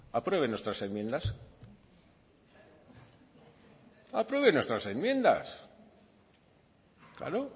aprueben nuestras enmiendas aprueben nuestras enmiendas claro